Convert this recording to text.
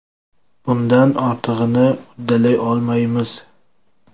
Bundan ortig‘ini uddalay olmaymiz.